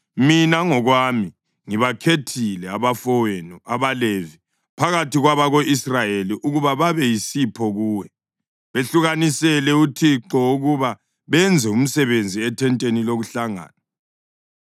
Mina ngokwami ngibakhethile abafowenu abaLevi phakathi kwabako-Israyeli ukuba babe yisipho kuwe, behlukanisele uThixo ukuba benze umsebenzi ethenteni lokuhlangana.